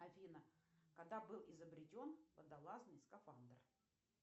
афина когда был изобретен водолазный скафандр